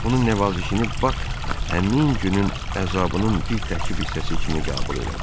Onun nəvazişini Bak həmin günün əzabının bir təqib hissəsi kimi qəbul elədi.